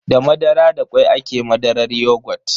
Da madara da kwai ake madarar yogut.